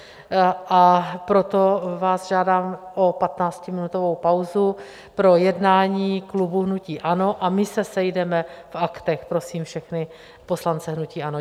A proto vás žádám o 15minutovou pauzu pro jednání klubu hnutí ANO, my se sejdeme v Aktech, prosím všechny poslance hnutí ANO.